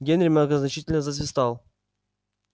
генри многозначительно засвистал